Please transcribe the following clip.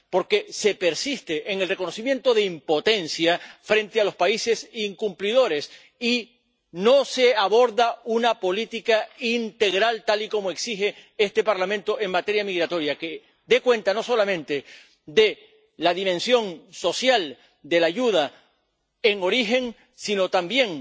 Porque se persiste en el reconocimiento de impotencia frente a los países incumplidores y no se aborda una política integral —tal y como exige este Parlamento— en materia migratoria, que dé cuenta no solamente de la dimensión social de la ayuda en origen, sino también